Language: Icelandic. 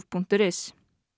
punktur is